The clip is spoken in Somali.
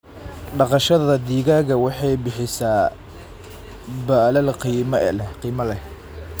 Dhaqashada digaaga waxay bixisaa baalal qiimo leh.